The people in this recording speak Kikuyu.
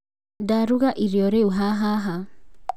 Ndagũra irio rĩu ha haha